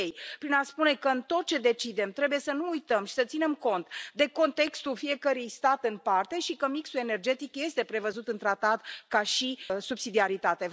Și închei prin a spune că în tot ce decidem, trebuie să nu uităm și să ținem cont de contextul fiecărui stat în parte și că mixul energetic este prevăzut în tratat ca subsidiaritate.